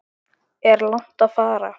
Er langt að fara?